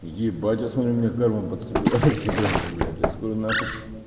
ебать я смотрю у меня карма подсобирается прямо блять я скоро нахуй